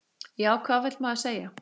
Já, hvað vill maður segja?